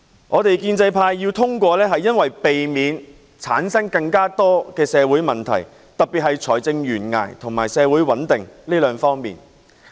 我們建制派通過預算案是為了避免產生更多社會問題，特別是關乎財政懸崖和社會穩定這兩方面。